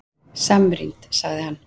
Samrýnd, sagði hann!